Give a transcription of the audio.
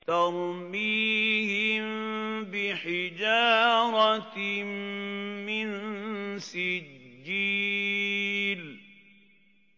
تَرْمِيهِم بِحِجَارَةٍ مِّن سِجِّيلٍ